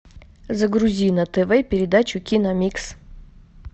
загрузи на тв передачу киномикс